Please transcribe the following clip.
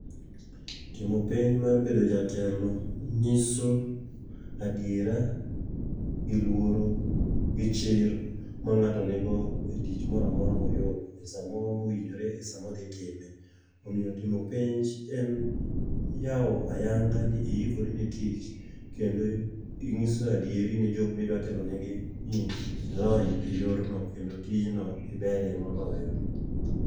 Timo penj mar bedo jatelo nyiso adiera gi luoro, gi chir ma ng'ato nigo e tich mora mora moyudo e samoro mowinjore e samo dhi time. Omiyo timo penj en yawo ayanga ni iikori ne tich, kendo ing'iso adieri ne jok midwa telonegi ni ilony e yorno kendo tijno iberie moloyo.